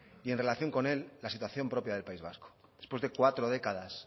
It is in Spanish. y en relación con él la situación propia del país vasco después de cuatro décadas